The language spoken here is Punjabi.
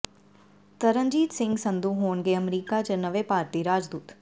ਤਰਨਜੀਤ ਸਿੰਘ ਸੰਧੂ ਹੋਣਗੇ ਅਮਰੀਕਾ ਚ ਨਵੇਂ ਭਾਰਤੀ ਰਾਜਦੂਤ